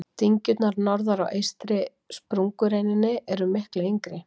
dyngjurnar norðar á eystri sprungureininni eru miklu yngri